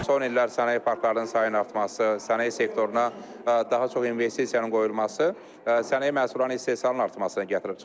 Son illər sənaye parklarının sayının artması, sənaye sektoruna daha çox investisiyanın qoyulması, sənaye məhsullarının istehsalının artmasına gətirib çıxarıb.